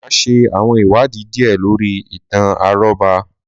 Máà ṣe àwọn ìwádìí díè lórí ìtàn àrọ́bá.